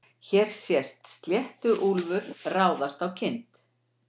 hér sést sléttuúlfur ráðast á kind